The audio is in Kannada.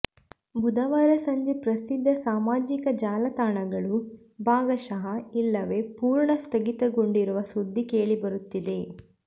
ಬುಧವಾರ ಸಂಜೆ ಪ್ರಸಿದ್ಧ ಸಾಮಾಜಿಕ ಜಾಲತಾಣಗಳು ಭಾಗಶಃ ಇಲ್ಲವೇ ಪೂರ್ಣ ಸ್ಥಗಿತಗೊಂಡಿರುವ ಸುದ್ದಿ ಕೇಳಿಬರುತ್ತಿದೆ